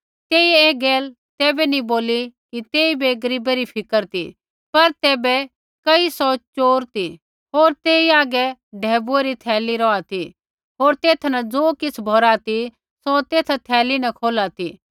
तेइयै ऐ गैल तैबै नैंई बोली कि तेइबै गरीबै री फ़िकर ती पर तैबै कई सौ च़ोर ती होर तेई हागै ढैबुऐ री थैली रौहा ती होर तेथा न ज़ो किछ़ भौरा ती सौ तेसा थैली न खोला ती